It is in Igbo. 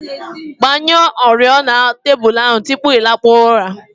Gbanyụọ oriọna tebụl tupu ị lakpuo ụra